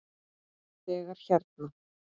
Þegar hérna.